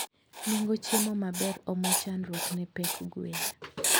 Nengo chiemo maber omo chandruok ne pek gwen